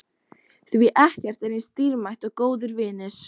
Því ekkert er eins dýrmætt og góðir vinir.